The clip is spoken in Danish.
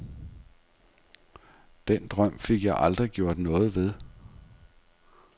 Den drøm fik jeg aldrig gjort noget ved.